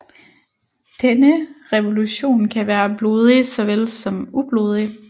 Denne revolution kan være blodig såvel som ublodig